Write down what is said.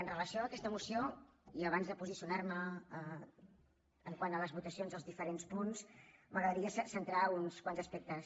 amb relació a aquesta moció i abans de posicionarme quant a les votacions dels diferents punts m’agradaria centrar uns quants aspectes